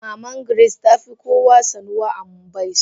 Maman Grace tafi kowa sanuwa a mbaise.